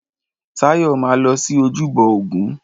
Táyọ̀ máa lọ sí ojúbọ ògún.